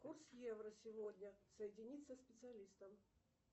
курс евро сегодня соединить со специалистом